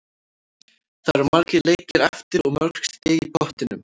Það eru margir leikir eftir og mörg stig í pottinum.